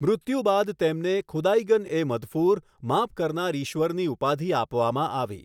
મૃત્યુ બાદ તેમને ખુદાઈગન એ મઘફુર માફ કરનાર ઈશ્વરની ઉપાધિ આપવામાં આવી.